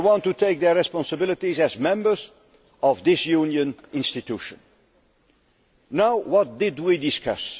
They want to assume their responsibilities as members of this Union institution. What did we discuss?